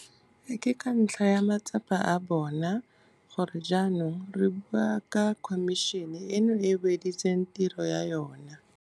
Ke ka ntlha ya matsapa a bona gore jaanong re bo re bua ka khomišene eno e e weditseng tiro ya yona.